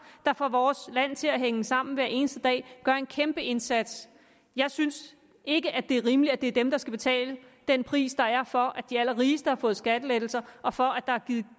der får vores land til at hænge sammen hver eneste dag de gør en kæmpe indsats jeg synes ikke det er rimeligt at det er dem der skal betale den pris der er for at de allerrigeste har fået skattelettelser og for at der er givet